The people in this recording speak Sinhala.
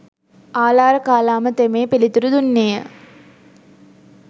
ආළාරකාලාම තෙමේ පිළිතුරු දුන්නේ ය.